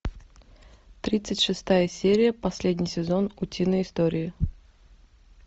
тридцать шестая серия последний сезон утиные истории